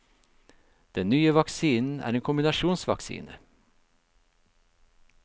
Den nye vaksinen er en kombinasjonsvaksine.